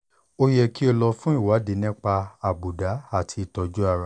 o yẹ kó o lọ fún ìwádìí nípa àbùdá àti ìtọ́jú ara